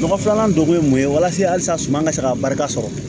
Nɔgɔ filanan dɔ kun ye mun ye walasa suma ka se ka barika sɔrɔ